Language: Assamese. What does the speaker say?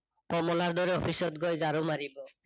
কমলাৰ দৰে অফিচত গৈ ঝাৰু মাৰিব